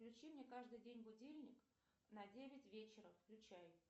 включи мне каждый день будильник на девять вечера включай